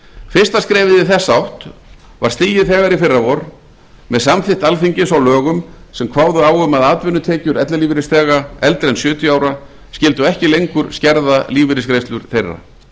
fyrsta skrefið í þessa átt var stigið þegar í fyrravor með samþykkt alþingis á lögum sem kváðu á um að atvinnutekjur ellilífeyrisþega eldri en sjötíu ára skyldu ekki lengur skerða lífeyrisgreiðslur þeirra